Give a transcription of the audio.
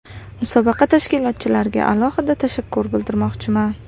Musobaqa tashkilotchilariga alohida tashakkur bildirmoqchiman.